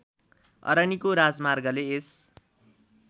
अरनिको राजमार्गले यस